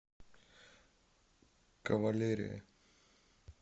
кавалерия